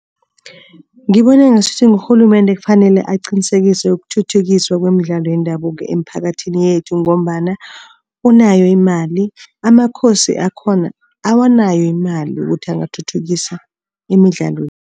Ngibona ngasuthi ngurhulumende ekufanele aqinisekise ukuthuthukiswa kwemidlalo yendabuko emiphakathini yethu ngombana unayo imali. AmaKhosi akhona awanayo imali yokuthi angathuthukisa imidlalo.